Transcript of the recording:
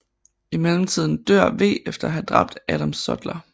I mellemtiden dør V efter at have dræbt Adam Sutler